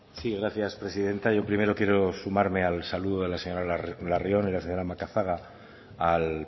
sí gracias presidenta yo primero quiero sumarme al saludo de la señora larrion y la señora macazaga al